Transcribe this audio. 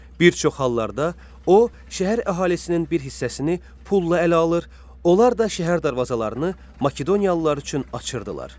Bir çox hallarda o şəhər əhalisinin bir hissəsini pulla ələ alır, onlar da şəhər darvazalarını Makedoniyalılar üçün açırdılar.